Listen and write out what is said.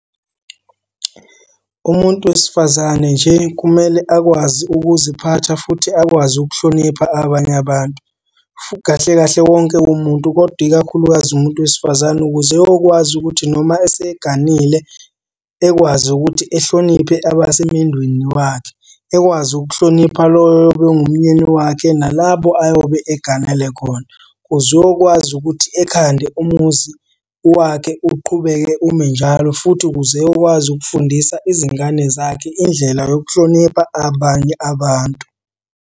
Umuntu wesifazane nje kumele akwazi ukuziphatha futhi akwazi ukuhlonipha abanye abantu. Kahle kahle wonke umuntu, kodwa ikakhulukazi umuntu wesifazane ukuze eyokwazi ukuthi noma eseganile ekwazi ukuthi ehloniphe abasemendweni wakhe. Ekwazi ukuhlonipha loyo oyobe engumyeni wakhe nalabo ayobe eganele khona. Kuze uyokwazi ukuthi ekhande umuzi wakhe uqhubeke ume njalo, futhi ukuze eyokwazi ukufundisa izingane zakhe indlela yokuhlonipha abanye abantu.